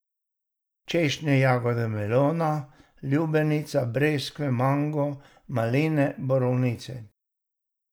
Češnje, jagode, melona, lubenica, breskve, mango, maline, borovnice ...